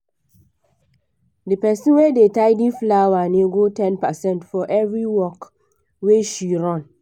the person wey da tidy flower nego ten percent for every work wey she run